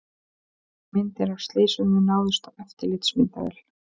Myndir af slysinu náðust á eftirlitsmyndavél